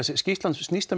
Ísland snýst að